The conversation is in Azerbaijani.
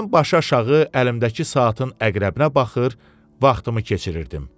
Mən başı aşağı əlimdəki saatın əqrəbinə baxır, vaxtımı keçirirdim.